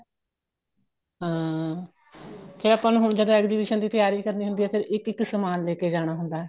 ਹਾਂ ਕੇ ਆਪਾਂ ਨੂੰ ਹੁਣ ਜਦੋਂ exhibition ਦੀ ਤਿਆਰੀ ਕਰਨੀ ਹੁੰਦੀ ਏ ਫੇਰ ਇੱਕ ਇੱਕ ਸਮਾਨ ਲੈਕੇ ਜਾਣਾ ਹੁੰਦਾ